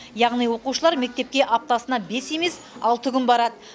яғни оқушылар мектепке аптасына бес емес алты күн барады